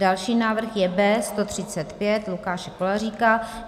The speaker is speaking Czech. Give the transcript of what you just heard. Další návrh je B135 Lukáše Koláříka.